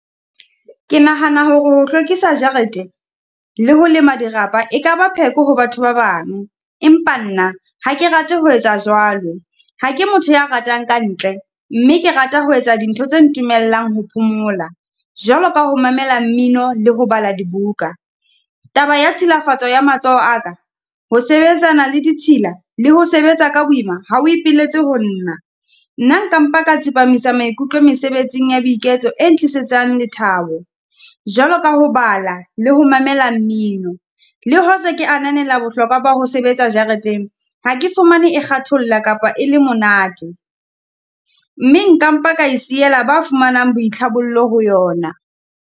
Ke nahana hore ho hlwekisa jarete le ho le ho lema dirapa, e ka ba pheko ho batho ba bang. Empa nna ha ke rate ho etsa jwalo. Ha ke motho ya ratang ka ntle, mme ke rata ho etsa dintho tse ntumellang ho phomola. Jwalo ka ho mamela mmino le ho bala dibuka. Taba ya tshilafatso ya matsoho a ka, ho sebetsana le ditshila le ho sebetsa ka boima, ha o ipiletse ho nna. Nna nka mpa ka tsepamisa maikutlo mesebetsing ya boiketlo eng tlisetsang lethabo. Jwalo ka ho bala, le ho mamela mmino le hoja ke ananela bohlokwa ba ho sebetsa jareteng. Ha ke fumane e kgatholla kapa e le monate, mme nkampa ka e siela, ba fumanang boitlhabollo ho yona.